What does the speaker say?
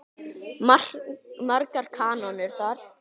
Margar kanónur þar.